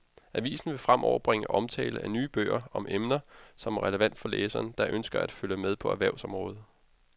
Avisen vil fremover bringe omtale af nye bøger om emner, som er relevante for læsere, der ønsker at følge med på erhvervsområdet.